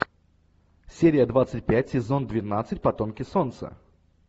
серия двадцать пять сезон двенадцать потомки солнца